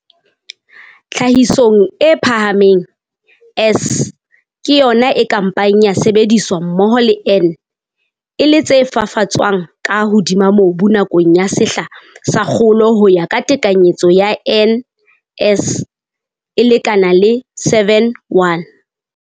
Tlhahisong e phahameng, S ke yona e ka mpang ya sebediswa mmoho le N e le tse fafatswang ka hodima mobu nakong ya sehla sa kgolo ho ya ka tekanyetso ya N:S e lekana le 7:1.